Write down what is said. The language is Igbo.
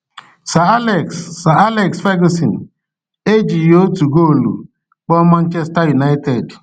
Sir Alex Sir Alex Ferguson ejighị otu goolu kpọọ Manchester United.